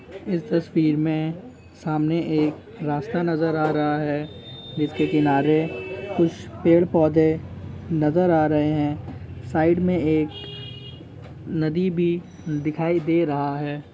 इस तस्वीर मे सामने एक रास्ता नजर आ रहा है जिसके किनारे कुछ पेड़ पौधे नजर आ रहे है साईड में एक नदी भी दिखाई दे रहा है।